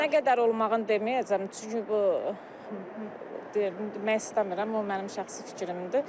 Nə qədər olmağını deməyəcəm, çünki bu mən istəmirəm, o mənim şəxsi fikrimdir.